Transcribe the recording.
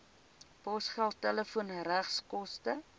posgeld telefoon regskoste